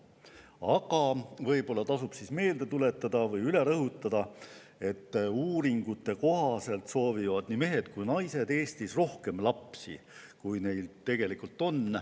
Aga võib-olla tasub meelde tuletada või üle rõhutada, et uuringute kohaselt soovivad mehed ja ka naised Eestis rohkem lapsi, kui neil tegelikult on.